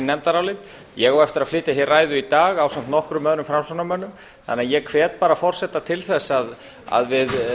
nefndarálit ég á eftir að flytja hér ræðu í dag ásamt nokkrum öðrum framsóknarmönnum þannig að ég hvet forseta til þess að við